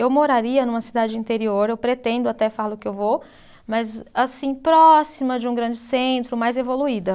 Eu moraria numa cidade de interior, eu pretendo até, falo que eu vou, mas assim, próxima de um grande centro, mais evoluída.